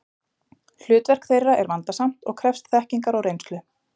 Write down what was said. Hlutverk þeirra er vandasamt og krefst þekkingar og reynslu.